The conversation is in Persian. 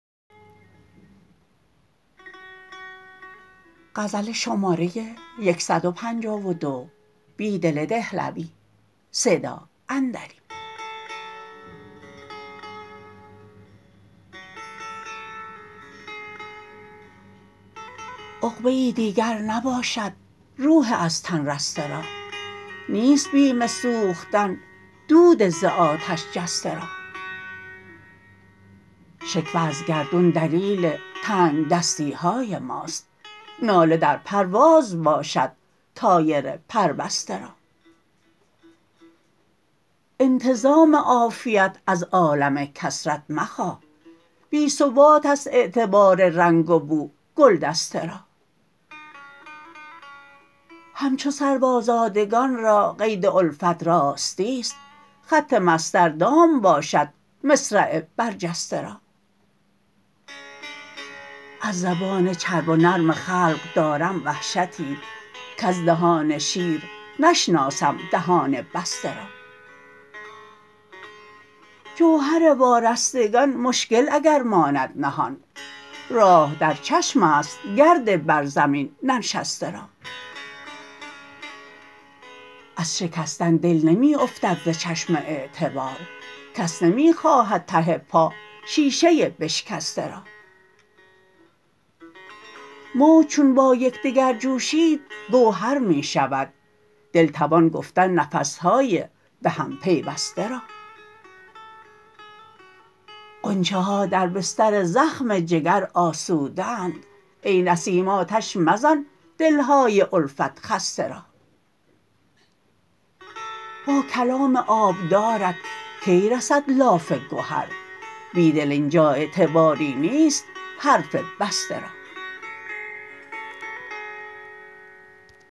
عقبه ای دیگر نباشد روح از تن رسته را نیست بیم سوختن دود زآتش جسته را شکوه ازگردون دلیل تنگدستیهای ماست ناله در پرواز باشد طایر پربسته را انتظام عافیت از عالم کثرت مخواه بی ثبات است اعتبار رنگ و بوگل دسته را همچوسروآزادگان را قیدالفت راستی ست خط مسطر دام باشد مصرع برجسته را از زبان چرب و نرم خلق دارم وحشی کز دهان شیر نشناسم دهان بسته را جوهر وارستگان مشکل اگر ماند نهان راه در چشم است گرد بر زمین ننشسته را از شکستن دل نمی افتد ز چشم اعتبار کس نمی خواهد ته پا شیشه بشکسته را موج چون با یکدگر جوشیدگوهرمی شود دل توان گفتن نفسهای به هم پیوسته را غنچه ها در بستر زخم جگر آسوده اند ای نسیم آتش مزن دلهای الفت خسته را باکلام آبدارت کی رسد لاف گهر بیدل اینجا اعتباری نیست حرف بسته را